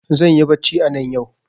Zanyi bacci anan yau